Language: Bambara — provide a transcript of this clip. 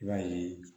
I b'a ye